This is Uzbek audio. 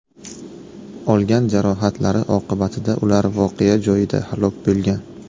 Olgan jarohatlari oqibatida ular voqea joyida halok bo‘lgan.